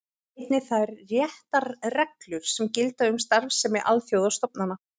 Einnig þær réttarreglur sem gilda um starfsemi alþjóðastofnana.